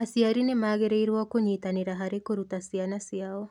Aciari nĩ magĩrĩirũo kũnyitanĩra harĩ kũruta ciana ciao.